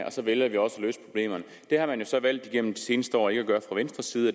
og så vælger vi også at løse problemerne det har man jo så valgt igennem de seneste år ikke at gøre fra venstres side